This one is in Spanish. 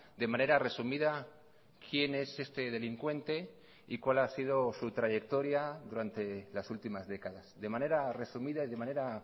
de manera resumida quién es este delincuente y cuál ha sido su trayectoria durante las últimas décadas de manera resumida y de manera